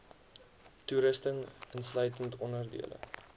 toerusting insluitend onderdele